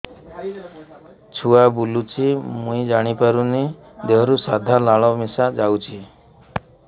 ଛୁଆ ବୁଲୁଚି ମୁଇ ଜାଣିପାରୁନି ଦେହରୁ ସାଧା ଲାଳ ମିଶା ଯାଉଚି